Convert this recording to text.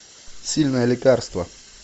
сильное лекарство